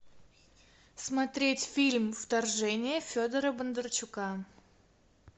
смотреть фильм вторжение федора бондарчука